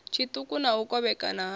tshiṱuku na u kovhekana ha